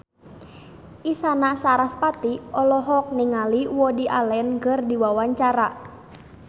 Isyana Sarasvati olohok ningali Woody Allen keur diwawancara